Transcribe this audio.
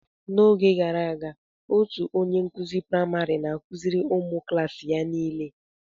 Na-oge gara aga otú onye nkuzi praịmarị n'akụziri ụmụ klaasi ya ihe nile.